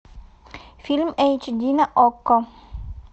фильм эйч ди на окко